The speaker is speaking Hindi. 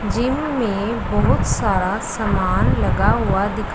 जिम में बहुत सारा सामान लगा हुआ दिखा--